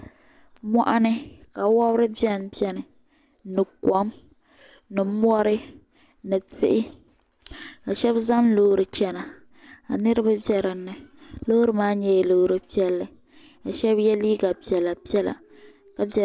Moɣuni ka wobri biɛni biɛni ni kom ni mori ni tihi ka Sheba zaŋ loori chena ka niriba be dinni loori maa nyɛla loori piɛlli ka Sheba ye liiga piɛla piɛla.